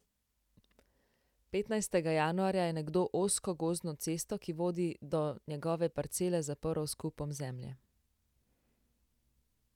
Petnajstega januarja je nekdo ozko gozdno cesto, ki vodi do njegove parcele, zaprl s kupom zemlje.